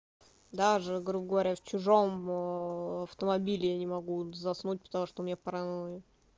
даже грубо говоря в чужом о автомобиле я не могу заснуть потому что у меня паранойя